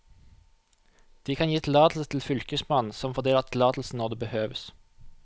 De kan gi tillatelse til fylkesmannen, som fordeler tillatelsen når det behøves.